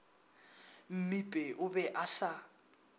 mmipe o be a sa